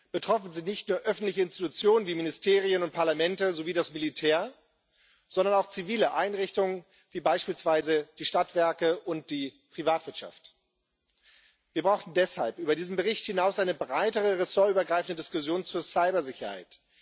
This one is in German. Betroffen sind nicht nur öffentliche Institutionen wie Ministerien und Parlamente sowie das Militär, sondern auch zivile Einrichtungen wie beispielsweise die Stadtwerke und die Privatwirtschaft. Wir brauchen deshalb über diesen Bericht hinaus eine breitere, ressortübergreifende Diskussion zur Cybersicherheit.